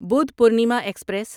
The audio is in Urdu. بودھپورنیما ایکسپریس